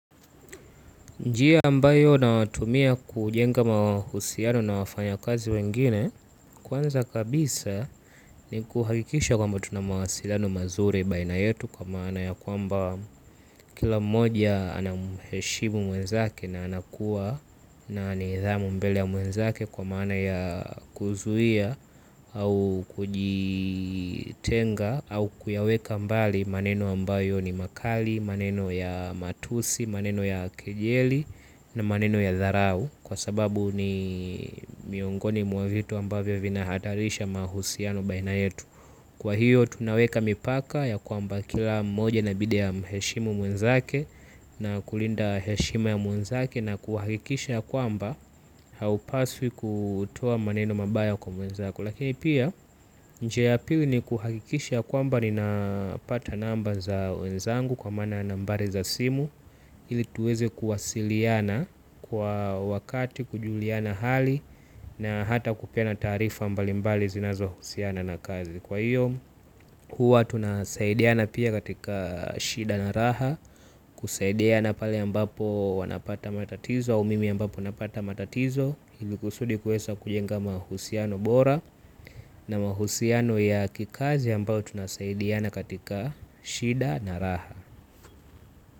Njia ambayo nayoitumia kujenga mahusiano na wafanya kazi wengine, kwanza kabisa ni kuhakikisha kwamba tunamawasiliano mazuri baina yetu kwa maana ya kwamba kila mmoja anamheshimu mwenzake na anakuwa na nidhamu mbele ya mwenzake kwa maana ya kuzuhia au kujitenga au kuyaweka mbali maneno ambayo ni makali, maneno ya matusi, maneno ya kejeli na maneno ya dharau kwa sababu ni miongoni mwa vitu ambavyo vina hatarisha mahusiano baina yetu. Kwa hiyo tunaweka mipaka ya kwamba kila mmoja inabidi amheshimu mwenzake. Na kulinda heshima ya mwenzake na kuhakikisha ya kwamba haupaswi kutoa maneno mabaya kwa mwenzako. Lakini pia njia ya pili ni kuhakikisha ya kwamba ninapata namba za wenzangu kwa maana nambari za simu hili tuweze kuwasiliana kwa wakati kujuliana hali na hata kupeana taarifa mbalimbali zinazo husiana na kazi. Kwa hiyo huwa tunasaidiana pia katika shida na raha. Kusaidiana pale ambapo wanapata matatizo au mimi ambapo napata matatizo. Hilikusudi kuwesa kujenga mahusiano bora na mahusiano ya kikazi ambayo tunasaidiana katika shida na raha.